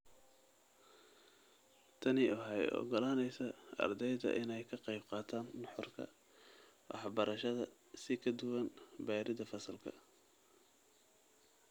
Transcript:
Tani waxay u ogolaanaysaa ardayda inay ka qayb qaataan nuxurka waxbarashada si ka duwan baridda fasalka.